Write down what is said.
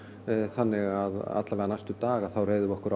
þannig að allavega næstu daga þá reiðum við okkur